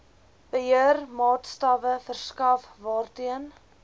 beheermaatstawwe verskaf waarteen